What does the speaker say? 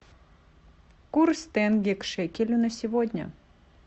курс тенге к шекелю на сегодня